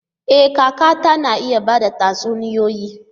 E! kakata na iya ba da tatsuniyoyi.